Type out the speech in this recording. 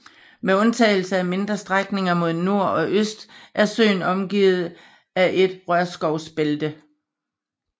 Med undtagelse af mindre strækninger mod nord og øst er søen omgivet af et rørskovsbælte